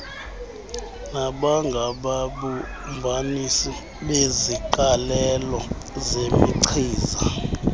nabangababumbanisi beziqalelo zemichiza